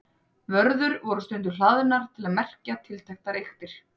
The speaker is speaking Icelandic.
Vörður voru stundum hlaðnar til að merkja tilteknar eyktir.